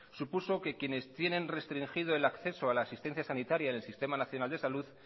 supuso que quienes tienen restringido el acceso a la asistencia sanitaria en el sistema nacional de salud